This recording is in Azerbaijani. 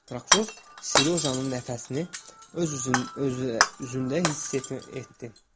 Prokuror Serojanın nəfəsini öz üzündə hiss etdi.